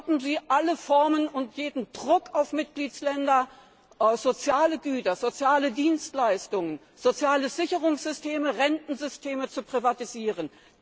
Stoppen Sie alle Formen und jeden Druck auf Mitgliedstaaten, soziale Güter, soziale Dienstleistungen, soziale Sicherungssysteme, Rentensysteme zu privatisieren.